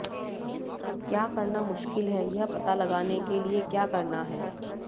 क्या करना मुश्किल है यह पता लगाने के लिए क्या करना है